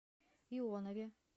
ионове